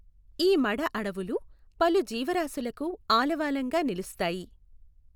ఈ మడఅడవులు, పలు జీవరాశులకు ఆలవాలంగా నిలుస్తాయి.